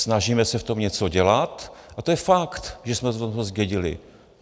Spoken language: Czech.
Snažíme se v tom něco dělat a to je fakt, že jsme to zdědili.